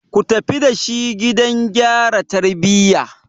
Ku tafi da shi gidan gyara tarbiyya!